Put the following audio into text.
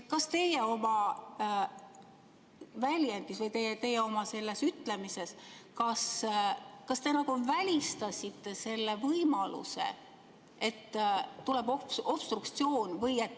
Kas teie oma väljendis või oma selles ütlemises välistasite selle võimaluse, et tuleb obstruktsioon?